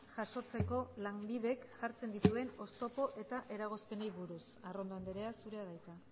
jasotzeko lanbidek jartzen dituen oztopo eta eragozpenei buruz arrondo andrea zurea da hitza